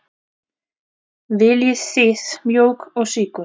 Viljið þið mjólk og sykur?